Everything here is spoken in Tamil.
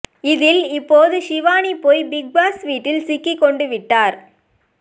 இதில் இப்போது ஷிவானி போய் பிக் பாஸ் வீட்டில் சிக்கிக் கொ ண்டு விட்டார்